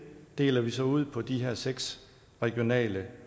deler vi så ud på de her seks regionale